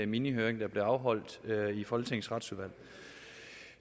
minihøring der blev afholdt i folketingets retsudvalg